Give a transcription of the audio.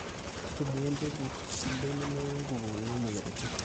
ntumia embegu sidai nemeurre nkukuuni o mweyiaritin